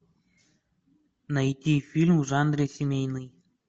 найти фильм в жанре семейный